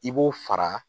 I b'o fara